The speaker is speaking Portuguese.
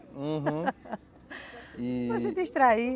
Uhum, Para se distrair, e...